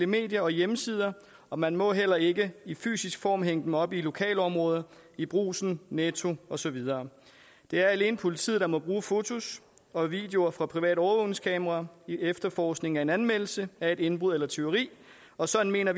medier og hjemmesider og man må heller ikke i fysisk form hænge dem op i lokalområdet i brugsen netto og så videre det er alene politiet der må bruge fotos og videoer fra private overvågningskameraer i efterforskningen af en anmeldelse af et indbrud eller et tyveri og sådan mener